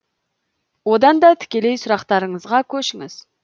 одан да тікелей сұрақтарыңызға көшіңіз